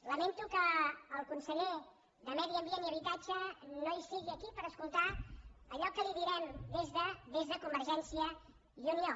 lamento que el conseller de medi ambient i habitatge no sigui aquí per escoltar allò que li direm des de convergència i unió